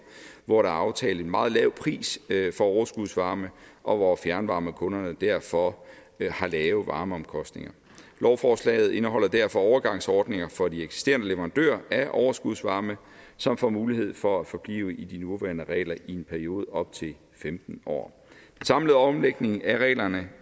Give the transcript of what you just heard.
hvor der er aftalt en meget lav pris for overskudsvarme og hvor fjernvarmekunderne derfor har lave varmeomkostninger lovforslaget indeholder derfor overgangsordninger for de eksisterende leverandører af overskudsvarme som får mulighed for at forblive i de nuværende regler i en periode op til femten år den samlede omlægning af reglerne